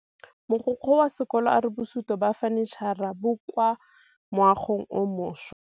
Mogokgo wa sekolo a re bosutô ba fanitšhara bo kwa moagong o mošwa.